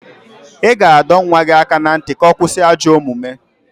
Ị ga-adọ nwa gị aka na ntị ka ọ kwụsị ajọ omume